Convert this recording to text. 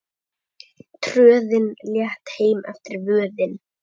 Tröðin létt heim eftir vöðin.